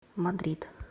мадрид